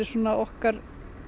okkar